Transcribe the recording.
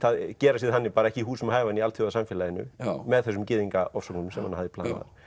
gera sig þannig ekki húsum hæfan í alþjóðasamfélaginu með þessum gyðingaofsóknum sem hann hafði planað